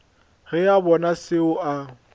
ge a bona seo a